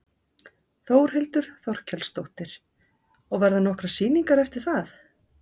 Þórhildur Þorkelsdóttir: Og verða nokkrar sýningar eftir það?